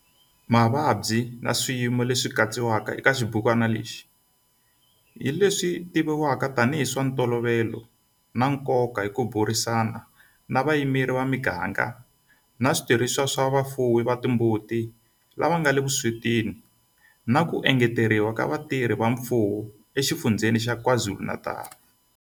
Mavabyi na swiyimo leswi katsiwaka eka xibukwana lexi hi leswi tivivwaka tanihi hi swa ntolovelo na nkoka hi ku burisana na vayimeri va miganga na switirhisiwa swa vafuwi va timbuti lava nga le vuswetini na ku engeteriwa ka vatirhi va mfumo eXifundzheni xa KwaZulu-Natal.